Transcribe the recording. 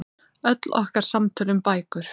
Öll okkar samtöl um bækur.